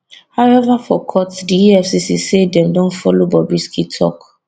however for court di efcc say dem don follow bobrisky tok